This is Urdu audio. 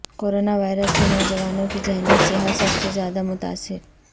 کورونا وائرس سے نوجوانوں کی ذہنی صحت سب سے زیادہ متاثر